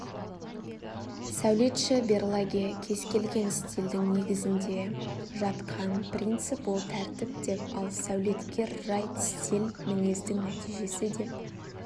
сәулетші берлаге кез келген стильдің негізінде жатқан принцип ол тәртіп деп ал сәулеткер райт стиль мінездің нәтижесі деп